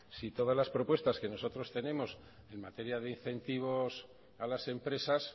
si todas las propuestas que nosotros tenemos en materia de incentivos a las empresas